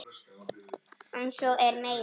En svo er meira.